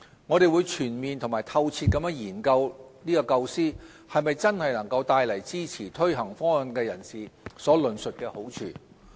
我們會全面及透徹研究這構思能否真的帶來支持推行方案的人士所論述的好處。